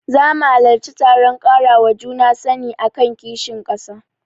Zama halarci taron ƙarawa juna sani akan kishin ƙasa.